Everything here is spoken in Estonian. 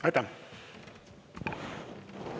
Aitäh!